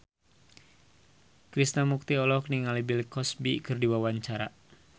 Krishna Mukti olohok ningali Bill Cosby keur diwawancara